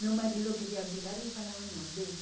Meu marido queria brigar e eu falava, não, deixa.